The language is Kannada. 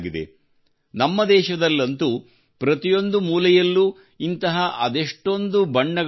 ನಮ್ಮ ದೇಶದಲ್ಲಂತೂ ಪ್ರತಿಯೊಂದು ಮೂಲೆಯಲ್ಲೂ ಇಂತಹ ಅದೆಷ್ಟೊಂದು ಬಣ್ಣಗಳು ಹರಡಿವೆ